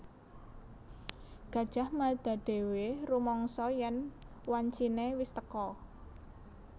Gajah Mada dhéwé rumangsa yèn wanciné wis teka